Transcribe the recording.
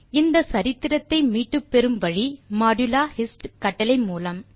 இந்த சரித்திரத்தை மீட்டுப் பெறும் வழி modulo hist கட்டளை மூலம்